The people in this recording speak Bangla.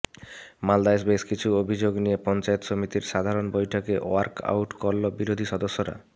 মালদায় বেশকিছু অভিযোগ নিয়ে পঞ্চায়েত সমিতির সাধারণ বৈঠকে ওয়ার্কআউট করল বিরোধী সদস্যরা